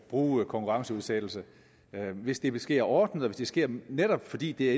bruge konkurrenceudsættelse hvis det sker ordnet og hvis det sker netop fordi det er